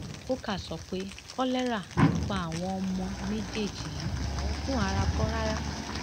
coker sọ pé kolera ló pa àwọn ọmọ méjì yìí oògùn aràn kọ rárá